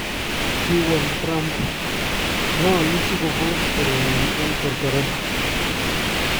Kiwaal Trump:"Ngaaluu sikopoos kereenyin en korkoret